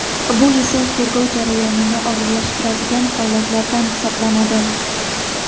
Bu esa tergov jarayonini og‘irlashtiradigan holatlardan hisoblanadi.